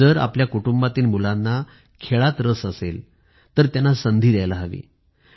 जर आपल्या कुटुंबातील मुलांना खेळात रस असेल तर त्यांना संधी द्यायला हवी